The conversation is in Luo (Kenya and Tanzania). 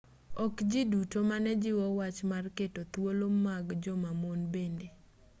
ok ji duto mane jiwo wach mar keto thuolo mag joma mon bende